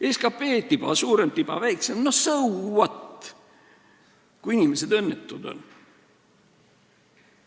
SKT on tiba suurem või tiba väiksem – so what, kui inimesed õnnetud on.